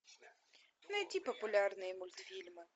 найди популярные мультфильмы